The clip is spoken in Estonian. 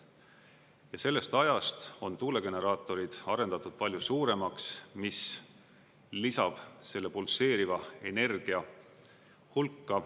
Ja sellest ajast on tuulegeneraatorid arendatud palju suuremaks, mis lisab selle pulseeriva energia hulka.